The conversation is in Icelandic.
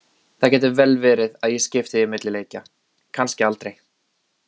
Það gæti vel verið að ég skipti því milli leikja, kannski aldrei.